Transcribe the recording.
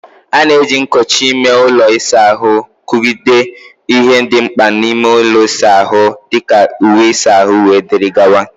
A na-eji nkochi ime ụlọ ịsa ahụ kpọgidere ihe dị mkpa n'ime ụlọ ịsa ahụ dị ka uwe ịsa ahụ, wdg.